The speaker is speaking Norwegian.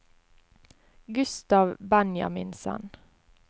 Gustav Benjaminsen